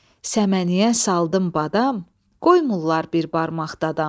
Səməniyə saldım badam, qoymurlar bir barmaq dadam.